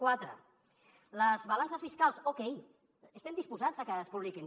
quatre les balances fiscals okay estem disposats a que es publiquin